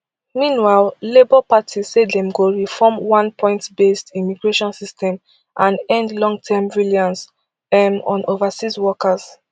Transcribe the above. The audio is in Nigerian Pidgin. meanwhile labour party say dem go reform one pointsbased immigration system and end longterm reliance um on overseas workers